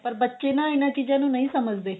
ਪਰ ਬੱਚੇ ਨਾ ਇਹਨਾ ਚੀਜ਼ਾ ਨੂੰ ਨਹੀਂ ਸਮਝਦੇ